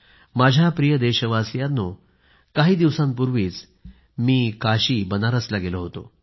माझ्या प्रिय देशवासियांनो काही दिवसांपूर्वीच मी काशीला गेलो होतो